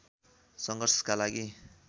सङ्घर्षका लागि